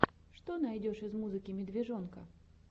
что найдешь из музыки медвежонка